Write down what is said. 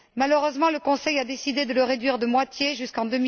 Malheureusement, le Conseil a décidé de le réduire de moitié jusqu'en